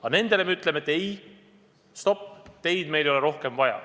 Aga nendele me ütleme: stopp, teid meile ei ole rohkem vaja.